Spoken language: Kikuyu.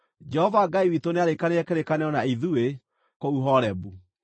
Jehova Ngai witũ nĩarĩĩkanĩire kĩrĩkanĩro na ithuĩ kũu Horebu.